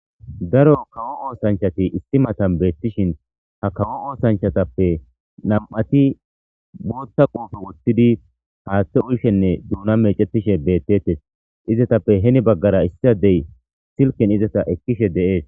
daro kawo oosanchati isti matan beettishin ha kawo oosanchatappe nam7ati mootta quufe wottidi haaththe uyshenne duuna meecetishe beettettes izatappe heni baggara issiadey silken izata ekkishe de7ees